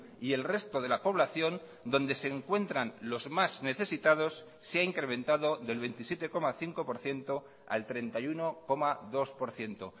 y el resto de la población donde se encuentran los más necesitados se ha incrementado del veintisiete coma cinco por ciento al treinta y uno coma dos por ciento